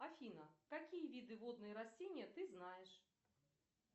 афина какие виды водные растения ты знаешь